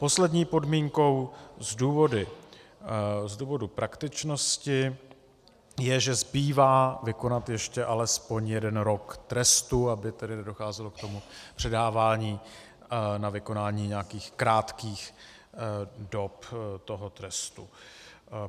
Poslední podmínkou z důvodu praktičnosti je, že zbývá vykonat ještě alespoň jeden rok trestu, aby tedy nedocházelo k tomu předávání na vykonání nějakých krátkých dob toho trestu.